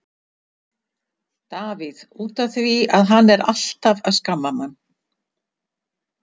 Davíð: Út af því að hann er alltaf að skamma mann.